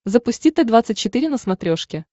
запусти т двадцать четыре на смотрешке